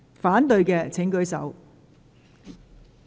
反對的請舉手。